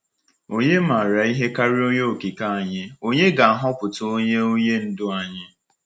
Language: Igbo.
Ònye maara ihe karịa Onye Okike anyị onye ga-ahọpụta onye onye ndu anyị?